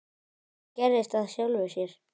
Það gerðist af sjálfu sér.